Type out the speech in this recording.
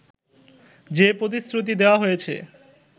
যে প্রতিশ্রুতি দেয়া হয়েছে